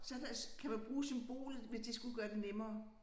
Så der kan man bruge symbolet hvis det skulle gøre det nemmere